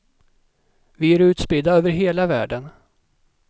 Vi är utspridda över hela världen.